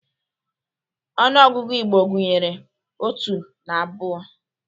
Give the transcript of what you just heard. Ọnụ ọgụgụ Igbo gunyeru otu na abụọ.